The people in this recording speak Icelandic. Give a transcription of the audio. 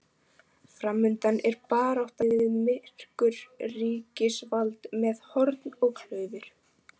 Framundan er barátta við myrkur, ríkisvald með horn og klaufir.